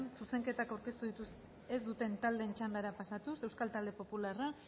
zuzenketak aurkeztu ez dituzten taldeen txandara pasatuz euskal talde popularra